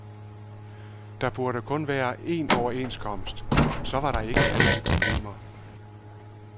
Der burde kun være en overenskomst, så var der ikke alle de problemer.